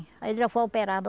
Aí já foi operado.